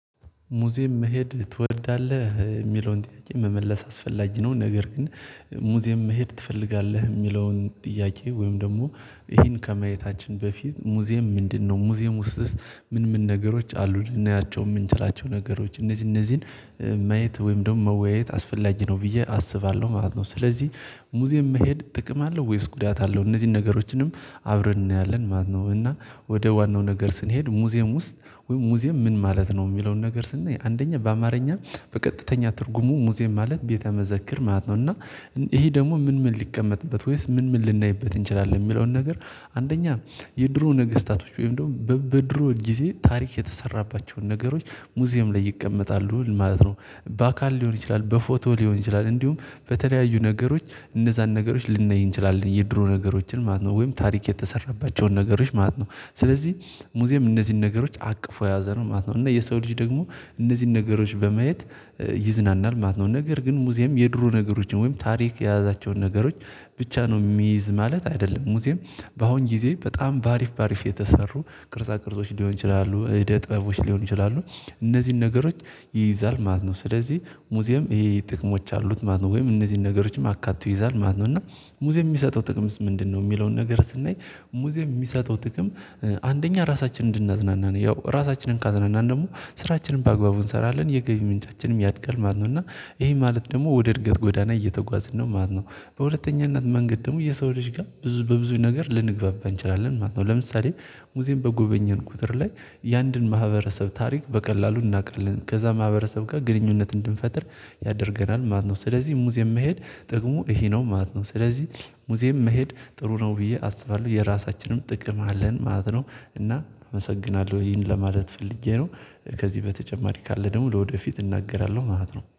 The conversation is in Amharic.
ሙዚየም መሄድ ትወዳለህ የሚለውን ጥያቄ መመለስ አስፈላጊ ነው። ነገር ግን ሙዚየም መሄድ ትፈልጋለህ የሚለውን ጥያቄ ወይም ደግሞ ይሄን ከማየታችን በፊት ሙዚየም ምንድነው? ሙዚየም ውስጥስ ምን ምን ነገሮች አሉ ልናያቸው የምንችላቸው ነገሮች እነዚህ እነዚህን? ማየት ወይም ደግሞ መወያየት አስፈላጊ ነው ብዬ አስባለሁ ማለት ነው። ስለዚህ ሙዚየም መሄድ ጥቅም አለው ወይስ ጉዳት አለው? እነዚህን ነገሮችንም አብረን እናያለን ማለት ነው። እና ወደ ዋናው ነገር ስንሄድ ሙዚየም ውስጥ ወይም ሙዚየም ምን ማለት ነው የሚለውን ነገር ስናይ አንደኛ በአማርኛ በቀጥተኛ ትርጉሙ ሙዚየም ማለት ቤተ መዘክር ማለት ነው። እና ይሄ ደግሞ ምን ምን ሊቀመጥበት ወይስ ምን ምን ልናይበት እንችላለን የሚለውን ነገር? አንደኛ የድሮ ነገስታቶች ወይም ደግሞ በድሮ ጊዜ ታሪክ የተሰራባቸውን ነገሮች ሙዚየም ላይ ይቀመጣሉ ማለት ነው። በአካል ሊሆን ይችላል በፎቶ ሊሆን ይችላል። እንዲሁም በተለያዩ ነገሮች እነዛን ነገሮች ልናይ እንችላለን የድሮ ነገሮችን ማለት ነው ወይም ታሪክ የተሰራባቸውን ነገሮች ማለት ነው። ስለዚህ ሙዚየም እነዚህን ነገሮች አቅፎ የያዘ ነው ማለት ነው። እና የሰው ልጅ ደግሞ እነዚህን ነገሮች በማየት ይዝናናል ማለት ነው። ነገር ግን ሙዚየም የድሮ ነገሮችን ወይም ታሪክ የያዛቸውን ነገሮች ብቻ ነው የሚይዝ ማለት አይደለም። ሙዚየም በአሁን ጊዜ በጣም በአሪፍ በአሪፍ የተሰሩ ቅርጻ ቅርጾች ሊሆኑ ይችላሉ ዕደ ጥበቦች ሊሆኑ ይችላሉ። እነዚህን ነገሮች ይይዛል ማለት ነው። ስለዚህ ሙዚየም ይሄ ይሄ ጥቅሞች አሉት ማለት ነው። ወይም እነዚህን ነገሮችም አካቶ ይይዛል ማለት ነው። እና ሙዚየም የሚሰጠው ጥቅምስ ምንድነው? የሚለውን ነገር ስናይ ሙዚየም የሚሰጠው ጥቅም አንደኛ ራሳችንን እንድናዝናና ያው ራሳችንን ካዝናናን ደግሞ ስራችንን በአግባቡ እንሰራለን የገቢ ምንጫችንም ያድጋል ማለት ነው። እና ይሄ ማለት ደግሞ ወደ እርገት ጎዳና እየተጓዝን ነው ማለት ነው። በሁለተኛነት መንገድ ደግሞ የሰው ልጅ ጋር ብዙ በብዙ ነገር ልንግባባ እንችላለን ማለት ነው። ለምሳሌ ሙዚየም በጎበኘን ቁጥር ላይ የአንድን ማህበረሰብ ታሪክ በቀላሉ እናውቃለን ከዛ ማህበረሰብ ጋር ግንኙነት እንድንፈጥር ያደርገናል ማለት ነው። ስለዚህ ሙዚየም መሄድ ጥቅሙ ይሄ ነው ማለት ነው። ስለዚህ ሙዚየም መሄድ ጥሩ ነው ብዬ አስባለሁ የራሳችንም ጥቅም አለን ማለት ነው። እና አመሰግናለሁ ይህን ለማለት ፈልጌ ነው። ከዚህ በተጨማሪ ካለ ደግሞ ለወደፊት እናገራለሁ ማለት ነው